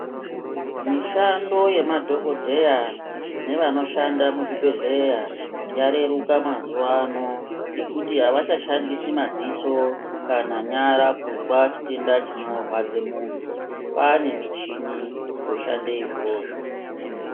Mishando yemadhokodheya nevanoshanda muzvibhedhlera yareruka mazuwa ano ngekuti avachashandisi madziso kana nyara kuzwa chitenda chinorwadze muntu. Kwaane michini yoshande izvozvo.